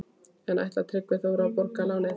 En ætlar Tryggvi Þór að borga lánið?